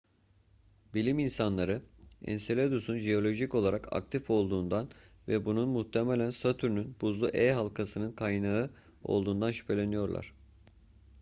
bilim insanları enseladus'un jeolojik olarak aktif olduğundan ve bunun muhtemelen satürn'ün buzlu e halkasının kaynağı olduğundan şüpheleniyorlar